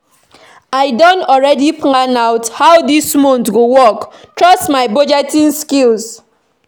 I don already plan out how dis month go work trust my budgeting skills